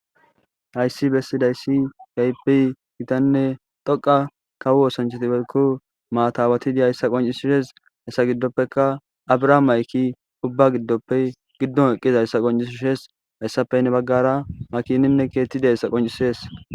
hayssi bessidayssi kaypi gitanne dhoqa kawu osancheti walko maatawatidi hayssa qoncisishees hayssa giddoppeka abrahaam mayki ubba giddoppe giddon eqqiza hayssa qoncisushees hayssappe ne baggara makininne keettida hayssa qoncisees